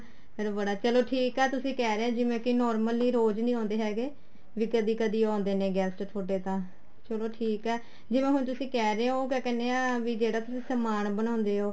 ਫ਼ੇਰ ਬੜਾ ਚਲੋ ਠੀਕ ਆ ਤੁਸੀਂ ਕਹਿ ਰਹੇ ਹੋ ਜਿਵੇਂ ਕੀ normally ਰੋਜ ਨਹੀਂ ਆਉਦੇ ਹੈਗੇ ਵੀ ਕਦੀ ਕਦੀ ਆਉਦੇ ਨੇ ਤੁਹਾਡੇ ਤਾਂ ਚਲੋ ਠੀਕ ਏ ਜਿਵੇਂ ਹੁਣ ਤੁਸੀਂ ਕਹਿ ਰਹੇ ਹੋ ਕਿਆ ਕਹਿਣੇ ਹਾਂ ਵੀ ਜਿਹੜਾ ਤੁਸੀਂ ਸਮਾਨ ਬਣਾਉਦੇ ਹੋ